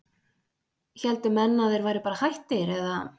héldu menn að þeir væru bara hættir eða?